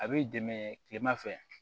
A b'i dɛmɛ kilema fɛ